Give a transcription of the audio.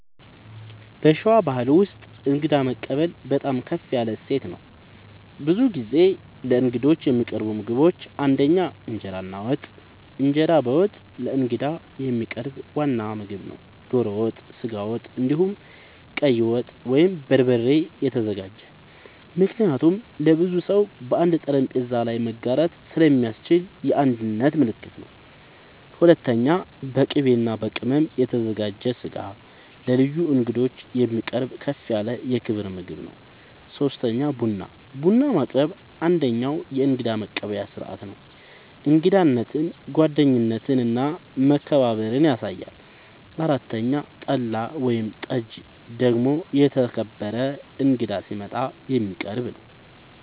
በሸዋ ባሕል ውስጥ እንግዳ መቀበል በጣም ከፍ ያለ እሴት ነው። ብዙ ጊዜ ለእንግዶች የሚቀርቡ ምግቦች ፩) እንጀራ እና ወጥ፦ እንጀራ በወጥ ለእንግዳ የሚቀርብ ዋና ምግብ ነው። ዶሮ ወጥ፣ ስጋ ወጥ፣ እንዲሁም ቀይ ወጥ( በበርበሬ የተዘጋጀ) ምክንያቱም ለብዙ ሰው በአንድ ጠረጴዛ ላይ መጋራት ስለሚያስችል የአንድነት ምልክት ነው። ፪.. በቅቤ እና በቅመም የተዘጋጀ ስጋ ለልዩ እንግዶች የሚቀርብ ከፍ ያለ የክብር ምግብ ነው። ፫. ቡና፦ ቡና ማቅረብ አንደኛዉ የእንግዳ መቀበያ ስርዓት ነው። እንግዳነትን፣ ጓደኝነትን እና መከባበርን ያሳያል። ፬ .ጠላ ወይም ጠጅ ደግሞ የተከበረ እንግዳ ሲመጣ የሚቀረብ ነዉ